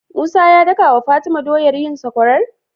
Musa ya dakawa fatima doyar yin sakwarar?